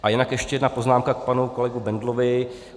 A jinak ještě jedna poznámka k panu kolegovi Bendlovi.